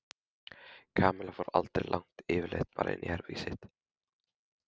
Kamilla fór aldrei langt yfirleitt bara inn í herbergið sitt.